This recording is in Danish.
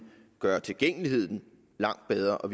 gøre tilgængeligheden langt bedre og